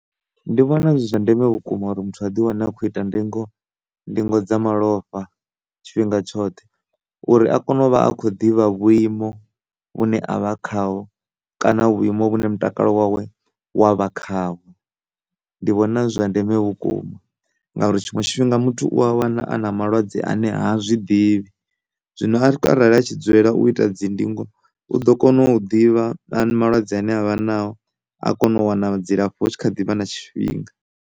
Ndi vhona zwi zwa ndeme vhukuma uri muthu a ḓi wane a tshi kho ita ndingo, ndingo dza malofha tshifhinga tshoṱhe uri a kone uvha a kho ḓivha vhuimo vhune avha khaho kana vhuimo vhune mutakalo wawe wavha khaho. Ndi vhona zwi zwa ndeme vhukuma ngauri tshiṅwe tshifhinga muthu u ya wana a na malwadze ane ha zwi ḓivhi zwino arali a tshi dzulela u ita dzindingo u ḓo kona u ḓivha malwadze ane avha nao a kona u wana dzilafho hu kha ḓivha na tshifhinga.